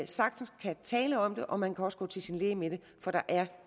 sagtens kan tale om det og man kan også gå til sin læge med det for der er